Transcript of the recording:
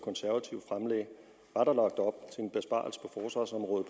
og der på forsvarsområdet